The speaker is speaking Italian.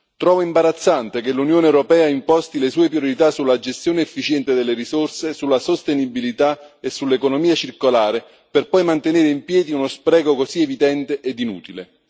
Trovo imbarazzante che l'Unione europea imposti le sue priorità sulla gestione efficiente delle risorse, sulla sostenibilità e sull'economia circolare, per poi mantenere in piedi uno spreco così evidente ed inutile.